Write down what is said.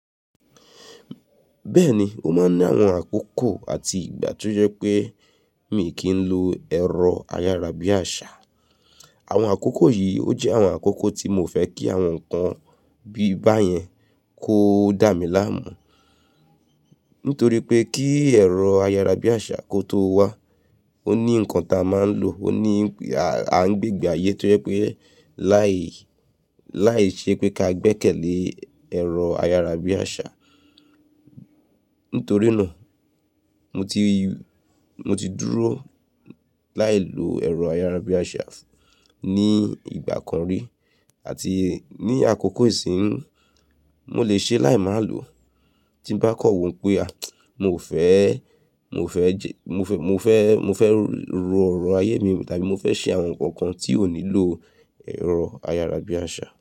Bẹ́ẹ̀ni, mo máa ń ní àwọn àkókò àti ìgbà tó jẹ́ pé mi kì í lo ẹ̀rọ ayárabíàṣá. Àwọn àkókò yìí, ó jẹ́ àwọn àkókò tí mo fẹ́ kí àwọn nǹkan bíi báyẹn kó dá mi láàmú. Nítorí pé kí ẹ̀rọ ayárabíàṣá kó tó wá, ó ní nǹkan ta a máa ń lò, ó ní a ń gbégbé ayé tó jẹ́ pé láì, láìṣé pé ká gbẹkẹ̀ lé ẹ̀rọ ayárabíàṣá. Nítorí náà, mo ti, mo ti dúró láìlo ẹ̀rọ ayárabíàṣá ní ìgbà kan rí àti ní àkókò ìsín. Mo lè ṣe láì má lò. Tí n bá kọ̀ wọ́n pé, a, mo fẹ́, mo fẹ́ jẹ, mo fẹ́, mo fẹ́, mo fẹ́ ro ọ̀rọ̀ ayé mi tàbí mo fẹ́ ṣe àwọn nǹkankan tí ò nílò ẹ̀rọ ayárabíàṣá.